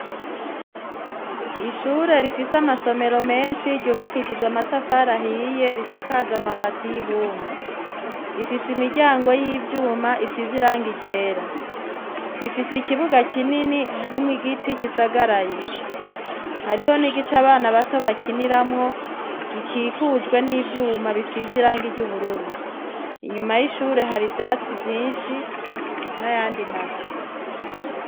Ishure rifise amasomero menshi yubakishijwe amatafari ahiye risakajwe amabati y'ibumba. Rifise imiryango y'ivyuma isize irangi ryera. Rifise ikibuga kinini harimwo igiti kisagaraye, hariho n'igice abana bato bakiniramwo gikikujwe n'ivyuma bisize irangi ry'ubururu. Inyuma y'ishure hari ivyatsi vyinshi n'ayandi mazu.